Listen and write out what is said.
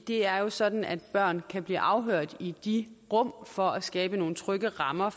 det er jo sådan at børn kan blive afhørt i de rum for at skaffe skabe nogle trygge rammer